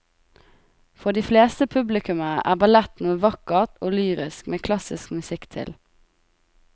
For de fleste publikummere er ballett noe vakkert og lyrisk med klassisk musikk til.